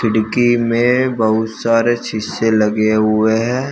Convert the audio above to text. डीग्गी में बहुत सारे शीशे लगे हुए हैं।